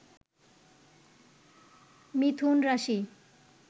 মিথুন রাশি